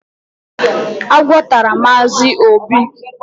Agwọ tara Mazi obi